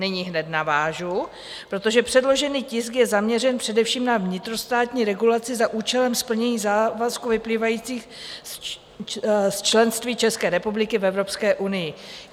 Nyní hned navážu, protože předložený tisk je zaměřen především na vnitrostátní regulaci za účelem splnění závazků vyplývajících z členství České republiky v Evropské unii.